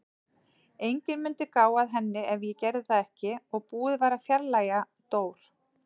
Enginn mundi gá að henni ef ég gerði það ekki og búið að fjarlægja Dór.